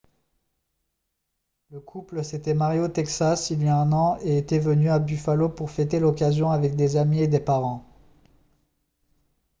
le couple s'était marié au texas il y a un an et était venu à buffalo pour fêter l'occasion avec des amis et des parents